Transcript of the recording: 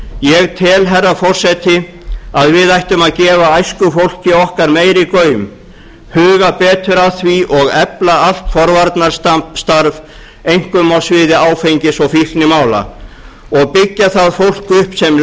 ég tel herra forseti að við ættum að gefa æskufólki okkar meiri gaum huga betur að því og efla allt forvarnarstarf einkum á sviði áfengis og fíknimála og byggja það fólk upp sem